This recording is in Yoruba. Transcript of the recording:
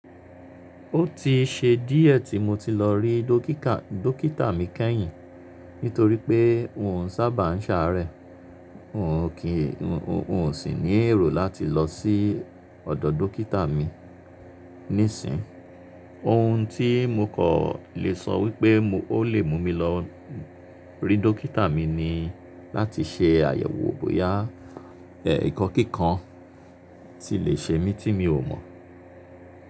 Ó ti ṣe díẹ̀ tí mo ti lọ rí dókítà mi kẹ́yìn nítorí pé òun sábà ń ṣàárẹ̀. N ò kí, n ò sì ní èrò láti lọ sí ọ̀dọ̀ dókítà mi nísìnyi Ohun tí mo kò lè sọ wípé ó lè mú mi lọ rí dókítà mi ni láti ṣe àyẹ̀wò bóyá ẹ̀ ikọ́ kíkan ti lè ṣe mí tí mi ò mọ̀.